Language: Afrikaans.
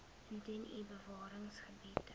indien u bewaringsgebiede